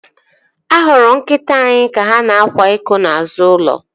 A hụrụ nkịta anyị ka ha na-akwa iko n'azụ ulo